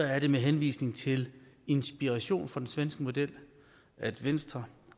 er det med henvisning til inspirationen fra den svenske model at venstre